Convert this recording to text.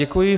Děkuji.